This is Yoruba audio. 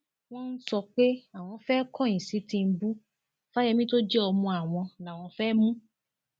wọn ń sọ pé àwọn fẹẹ kọyìn sí tìǹbù fáyẹmì tó jẹ ọmọ àwọn làwọn fẹẹ mú